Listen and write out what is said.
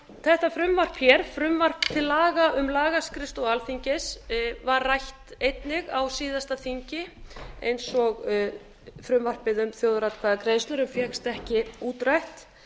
þetta frumvarp hér frumvarp til laga um lagaskrifstofu alþingis var rætt einnig á síðasta þingi eins og frumvarpið um þjóðaratkvæðagreiðslur en fékkst ekki útrætt